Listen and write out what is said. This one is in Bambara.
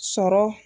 Sɔrɔ